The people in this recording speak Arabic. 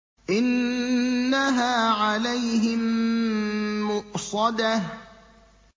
إِنَّهَا عَلَيْهِم مُّؤْصَدَةٌ